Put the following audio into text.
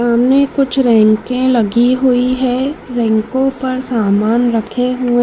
सामने कुछ रैंके लगी हुई है रैंकों पर सामान रखे हु--